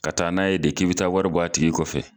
Ka taa n'a ye de k'i be taa wari bɔ a tigi kɔfɛ